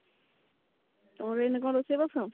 ଆଉ ଏଇନେ କଣ ରୋଷେଇ ବାସ